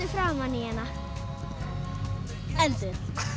framan í hana endir